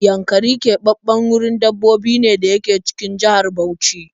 Yankari keɓaɓɓen wurin dabbobi ne da yake cikin jihar Bauchi